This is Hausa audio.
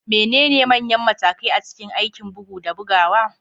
Menene manyan matakai a cikin aikin bugu da bugawa?